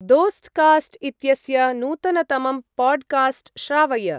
दोस्त्कास्ट् इत्यस्य नूतनतमं पाड्कास्ट् श्रावय।